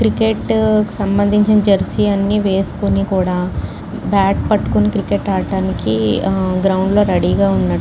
cricket సంబంధించి jersey అన్ని వేసుకొనికుడా బ్యాట్ పట్టుకొని క్రికెట్ ఆడటానికి గ్రౌండ్ లో రెడీ గా ఉన్నటు --